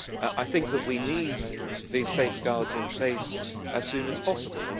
I think that we need these safeguards in place as soon as possible.